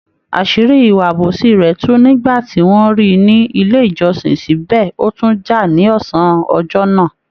Àṣírí ìwà àbòsí rẹ̀ tú nígbà ti wọ́n ríi ní ilé ìjọsìn, síbẹ̀ ó tún jà ní ọsán ọjọ́ náà.